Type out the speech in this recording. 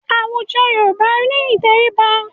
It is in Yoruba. Awùjọ̀ Yorùbá ni ìtẹríba.